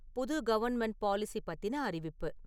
புது government policy பத்தின அறிவிப்பு